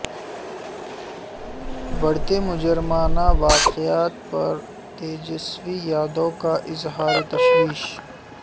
بڑھتے مجرمانہ واقعات پر تیجسوی یادو کا اظہار تشویس